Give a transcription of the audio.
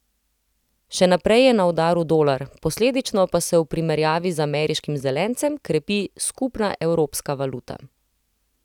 Še naprej je na udaru dolar, posledično pa se v primerjavi z ameriškim zelencem krepi skupna evropska valuta.